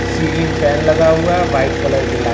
ceiling fan लगा हुआ है व्हाइट कलर की लाइ--